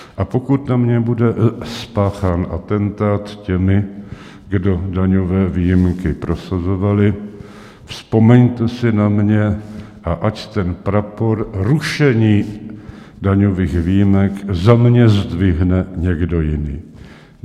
A pokud na mě bude spáchán atentát těmi, kdo daňové výjimky prosazovali, vzpomeňte si na mě a ať ten prapor rušení daňových výjimek za mě zdvihne někdo jiný.